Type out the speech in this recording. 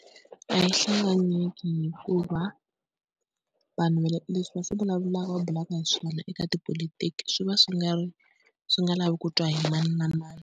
A yi hlanganyeli hikuva vanhu leswi va swi vulavulaka va bulaka hi swona eka tipolotiki swi va swi nga ri swi nga lavi ku twa hi mani na mani.